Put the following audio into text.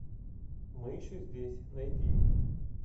мы еще здесь найди